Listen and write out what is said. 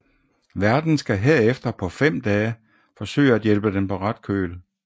Værten skal herefter på fem dage forsøge at hjælpe den på ret køl